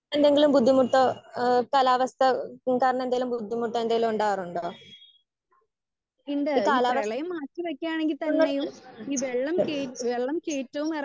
Speaker 1 എന്തെങ്കിലും ബുദ്ധിമുട്ടോ ഏഹ് കാലാവസ്ഥാ കാരണം എന്തെങ്കിലും ബുദ്ധിമുട്ടോ ഉണ്ടാവാറുണ്ടോ? ഈ കാലാവസ്ഥ ഏഹ്